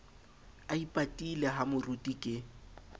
a ipatile ha moruti ke